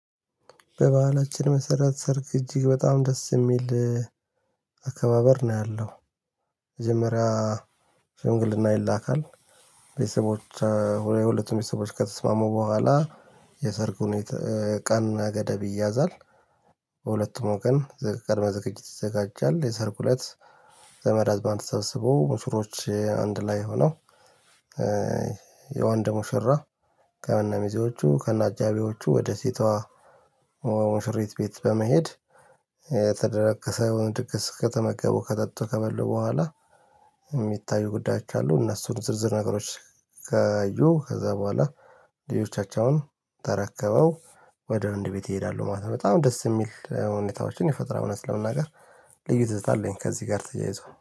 በበአላችን መሰረት ሰርግ እጅግ በጣም ደስ የሚል አካባበር ነው ያለው። መጀመሪያ ሽንግልና ይላካል። ቤተሰቦች የሁለቱም ቤተሰቦች ከተስማሙ በኋላ። የሰርጉን ቀን ገደብ ይያዛል። በሁለቱም ቀን ዘገመዘገጅ ይዘጋጃል የሰርጉ ለት ዘመዳአዝማዱ በአንድ ተሰብስበው ሙሽሮች አንድ ላይ ሆነው። የወንድ ሙሽራ ከእነ ሚዜዎቹ ከና አጃቢዎቹ ወደ ሴቷ ሙሽሪት ቤት በመሄድ። የተደገሰውን ድግስ ከተመገቡ ከጠጡ ከበሉ በኋላ የሚታዩ ጉዳዮች አሉ። እነሱን ዝርዝር ነገሮች ካዩ ከዛ በኋላ ሌሎቻቸውን ተረከበው ወደ ወንድ ቤት ይሄዳሉ ማለት ነው። በጣም ደስ የሚል ሁኔታዎችን ይፈጠራል እውነት ስለመናገር ልዩ ትዝታ አለኝ። ከዚህ ጋር ተያይዞ